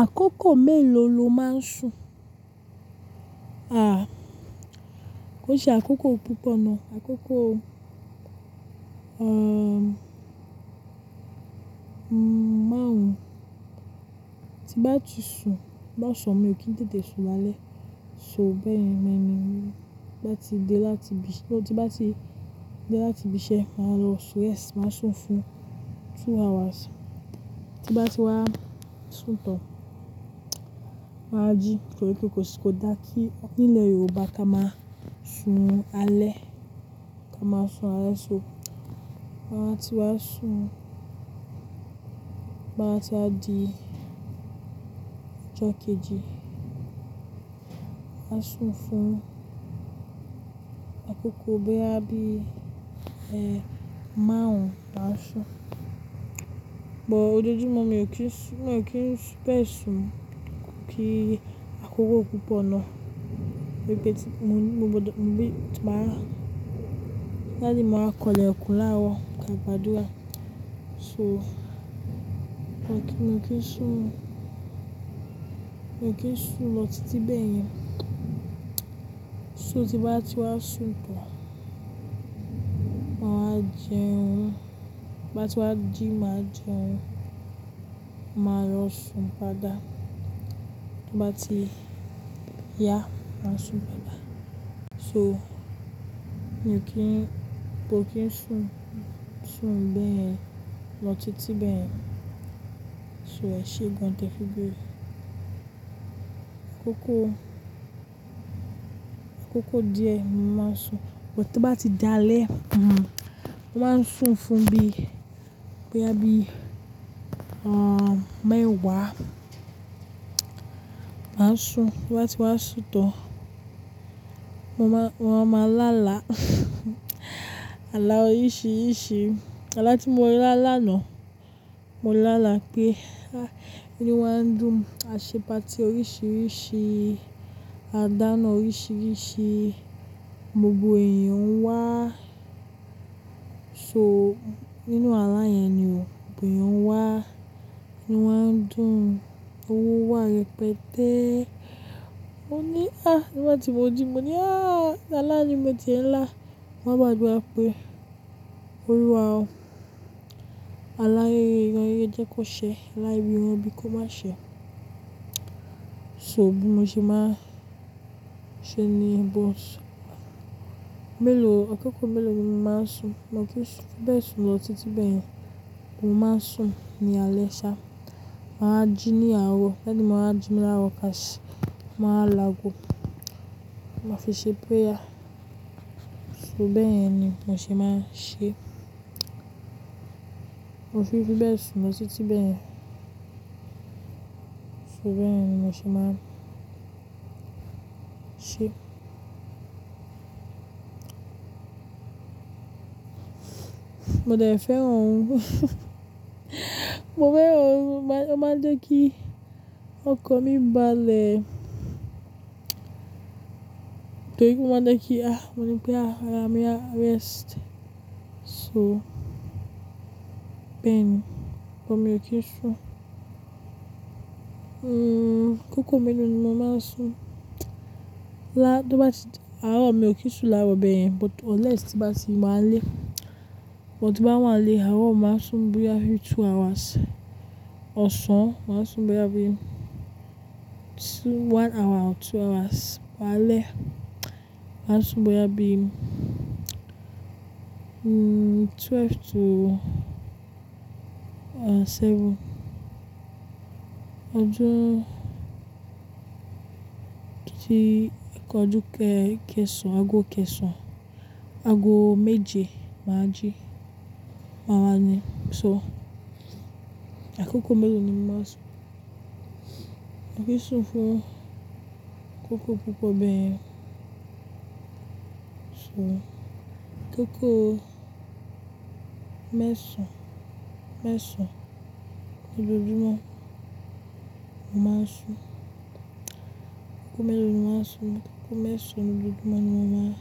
Àkókò mélòó lo máa ń sùn? Ah, koó ṣe àkókò púpọ̀ náà, àkókò, ehn, máàrún. Ti bá ti sùn, lo san mi ò kí n tètè sùn lálẹ́. So bẹ́ẹ̀ ni mo ní, bá ti dé láti ibi tí ó ti bá ti dé láti ibi iṣẹ́ máa lọ sùn, yes, màá sùn fún two hours. Ti bá ti wá sùn tán, màá jí nítorí pé kò sí, kò dá kí nílẹ̀ Yorùbá ká máa sùn alẹ́, ká máa sùn alẹ́ so. Màá tí wàá sùn, to ba wàá tí wa di ijọ́ kejì, màá sùn fún àkókò boya bii ẹhn, márùn-ún maásùn. Òjoojúmọ́ mi ò kí n sùn, mi ò kí n fi bẹ́ẹ̀ sùn kí àkókò púpọ̀ náà. Gẹ́gẹ́ bí tí mo gbọdọ̀, bí màá, láti máa kọ ilẹ̀kùn láwọ̀ ká ìbàdúrà. So mi ò kí, mi ò kí n sùn, mi ò kí n sùn lọ títí bẹ́yen. So tí bá ti wá sùn tán, màá wa jẹun. Ti n bá ti wá ji, màá jẹun, màá lọ sùn pada. Bá ti yá, màá sùn pada. So mi ò kí n, mi ò kí n sùn, sùn bẹ́ẹ̀ yẹn lọ títí bẹ́yẹn. So ẹ̀ ṣe gan tẹ́ fi n beere Àkókò, àkókò díẹ̀ máa ń sùn, but tó bá ti dá alẹ́, mhm, mo máa ń sùn fún bí, boya bí, ehn, mẹ́wàá. Màá sùn, bá ti wá sùn tán, mo máa, mo máa lá àlá. Àlá oríṣiríṣi. Àlá tí mo lá làná, mo lálá pé, ah, inu wa ń dùn, àṣe pàrty oríṣiríṣi, à dáná oríṣiríṣi, gbogbo èèyàn ń wá. So nínú àlá yẹn ni o, gbogbo èèyàn ń wá, inu wa ń dùn, owó wá rẹpẹtẹ́. Mo ní, ah, nígbà tí mo ni mo ní, ah, àlá yìí mọ̀ tí ń lá, mo máa gbàdura pè. Olúwa o. Àlá rere, rẹ yi jẹ́ kó ṣe, àlá ibi, iran ibi kò ma ṣe. So bí mo ṣe máa ń ṣe ni bọ́ọ̀sì. Mẹ́lòó, àkókò mẹ́lòó ni mo máa ń sùn? Mo kí ń sùn bẹ́ẹ̀ sùn lọtítí bẹ́ẹ̀ yẹn. Mo máa ń sùn ní alẹ́ ṣá. Màá jí ní àárọ̀, daddy màá wa jí mi ní àárọ̀ káṣe, a màá wa lu ago. A màá fi ṣe prayer. So bẹ́yẹn ni mo ṣe máa ń ṣe. Mo fi, fi bẹ́ẹ̀ sùn lọtítí bẹ́ẹ̀ yẹn. So bẹ́ẹ̀ ni mo ṣe máa ń ṣe. Mo dẹ̀ fẹ́ran orun. Mo fẹ́ran orun, o máa jẹ́ kí ọkan mi bálẹ. Torí o máa n jẹ́ kí, ah, mo ní pé, ah, ara mi a rest. So bẹ́ẹ̀ ni, but mi o kí ń sùn. Hmm, àkókò mẹ́lòó ni mo máa ń sùn? Lá, tó bá ti, àárọ̀ mi ò kí ń sùn láarọ bẹeyẹn but unless tí bá ti ma lẹ́. But ti n ba wà nile, àárọ̀ màá sùn bóyá bí two hours. Ọ̀sán màá sùn bóyá bí two, one hour or two hours. Alẹ́ màá sùn bóyá bí, hmm, twelve to, ehn, seven. Ọjọ́, kí í, ọjọ́ kẹsàn-án, ago kẹsàn-án, ago méje màá jí. Màá wá ní, so àkókò mẹ́lòó ni mo máa ń sùn? Mi ò kí ń sùn fún àkókò púpọ̀ bẹ́ẹ̀ yẹn. So àkókò mẹ́sàn-án, mẹ́sàn-án ní ojoojúmọ́ ni mo máa ń sùn. Àkókò mẹ́lòó ni mo máa ń sùn? Akoko mesan-an ni ojoojumọ ni mo ma n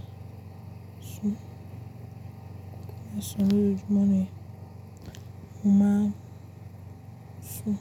sun Àkókò mẹ́sàn-án ní ojoojúmọ́ ni mo máa sùn.